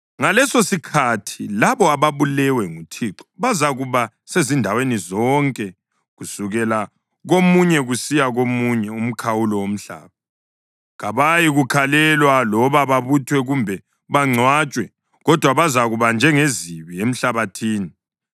Ngalesosikhathi labo ababulewe nguThixo bazakuba sezindaweni zonke kusukela komunye kusiya komunye umkhawulo womhlaba. Kabayikukhalelwa loba babuthwe kumbe bangcwatshwe, kodwa bazakuba njengezibi emhlabathini.